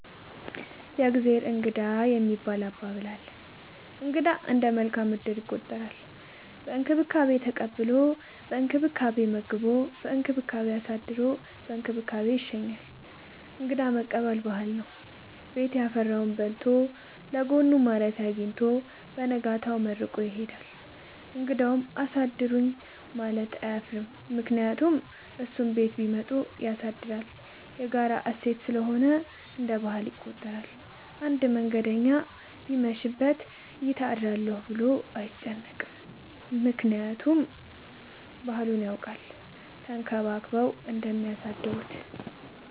የእግዜር እንግዳ የሚባል አባባል አለ። እንግዳ እንደ መልካም እድል ይቆጠራል። በእንክብካቤ ተቀብሎ በእንክብካቤ መግቦ በእንክብካቤ አሳድሮ በእንክብካቤ ይሸኛል። እንግዳ መቀበል ባህል ነው። ቤት ያፈራውን በልቶ ለጎኑ ማረፊያ አጊኝቶ በነጋታው መርቆ ይሄዳል። እንግዳውም አሳድሩኝ ለማለት አያፍርም ምክንያቱም እሱም ቤት ቢመጡ ያሳድራል። የጋራ እሴት ስለሆነ እንደ ባህል ይቆጠራል። አንድ መንገደኛ ቢመሽ ይት አድራለሁ ብሎ አይጨነቅም። ምክንያቱም ባህሉን ያውቃል ተንከባክበው እንደሚያሳድሩት።